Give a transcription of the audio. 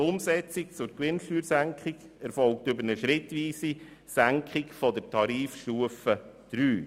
Die Umsetzung der Gewinnsteuersenkung erfolgt über eine schrittweise Senkung von Tarifstufe 3.